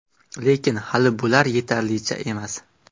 Lekin, hali bular yetarlicha emas.